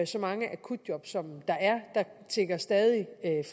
så mange akutjob som der er der tikker stadig